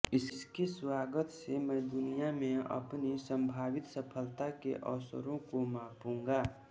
इसके स्वागत से मैं दुनिया में अपनी संभावित सफलता के अवसरों को मापूंगा